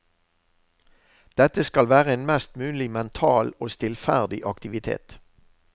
Dette skal være en mest mulig mental og stillferdig aktivitet.